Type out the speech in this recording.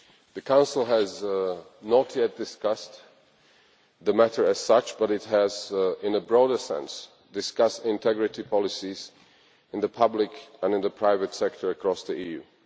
The Council has not yet discussed the matter as such, but it has in a broader sense discussed integrity policies in the public and in the private sector across the EU.